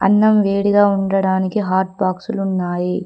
అన్నం వేడిగా ఉండడానికి హాట్ బాక్సులు ఉన్నాయి.